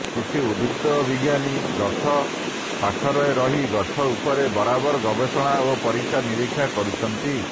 କିଛି ଉଦ୍ଭିଦ ବ଼ିଜ୍ଞାନୀ ଗଛ ପାଖରେରହି ଗଛ ଉପରେ ବରାବର ଗବେଷଣା ଓ ପରୀକ୍ଷା ନିରୀକ୍ଷା କରୁଛନ୍ତି